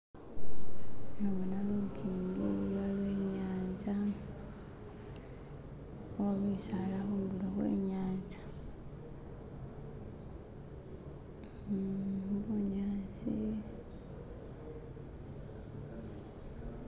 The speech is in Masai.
Nabona lukingi waliwo inyanza uh bisaala khundulo khwe nyanza uh bunyasi.